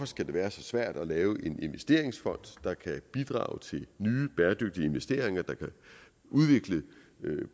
skal være så svært at lave en investeringsfond der kan bidrage til nye bæredygtige investeringer der kan udvikle